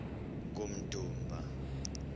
kummdumba